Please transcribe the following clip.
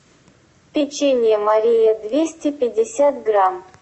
печенье мария двести пятьдесят грамм